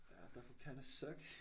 Ja that would kinda suck